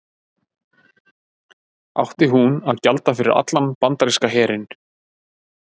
Átti hún að gjalda fyrir allan bandaríska herinn?